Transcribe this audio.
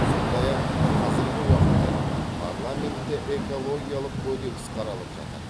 сондай ақ қазіргі уақытта парламентте экологиялық кодекс қаралып жатыр